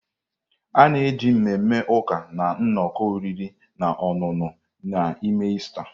A na-eji mmemme ụka na nnọkọ oriri na ọṅụṅụ na-eme Ista.